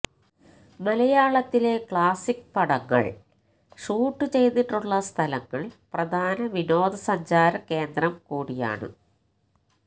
മലയാളത്തിലെ ക്ലാസിക് പടങ്ങല് ഷൂട്ട് ചെയ്തിട്ടുള്ള സ്ഥലങ്ങള് പ്രധാന വിനോദ സഞ്ചാര കേന്ദ്രം കൂടിയാണ്